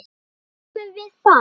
Þar höfum við það!